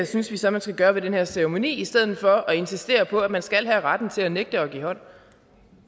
synes vi så man skal gøre ved den her ceremoni i stedet for at insistere på at man skal have retten til at nægte at give hånd